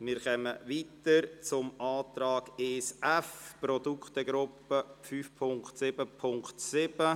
Wir kommen zum Antrag 1f betreffend die Produktegruppe 5.7.7.